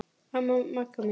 Já, Magga mín.